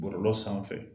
Bɔlɔlɔ sanfɛ